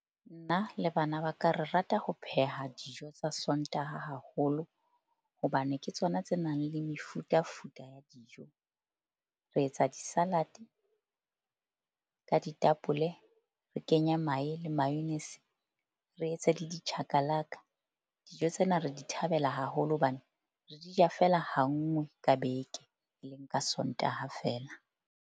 Nna le bana ba ka. Re rata ho pheha dijo tsa Sontaha haholo hobane ke tsona tse nang le mefutafuta ya dijo. Re etsa di-salad-e ka ditapole, re kenya mahe le mayonnaise, re etse le di chakalaka. Dijo tsena re di thabela haholo hobane re di ja fela ha nngwe ka beke, e leng ka Sontaha feela.